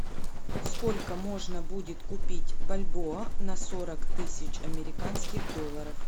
сколько можно будет купить бальбоа на сорок тысяч американских долларов